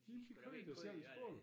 De de kører endda selv i skole